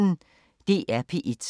DR P1